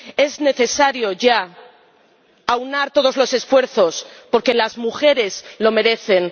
Es necesario ya aunar todos los esfuerzos porque las mujeres lo merecen